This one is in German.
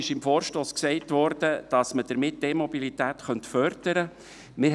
Im Vorstoss wurde gesagt, dass man damit die E-Mobilität fördern könne.